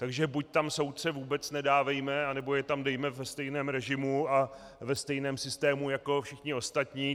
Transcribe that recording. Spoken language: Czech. Takže buď tam soudce vůbec nedávejme, anebo je tam dejme ve stejném režimu a ve stejném systému jako všechny ostatní.